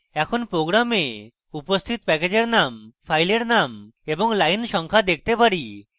এখন program উপস্থিত প্যাকেজের name ফাইলের name এবং line সংখ্যা দেখতে পারি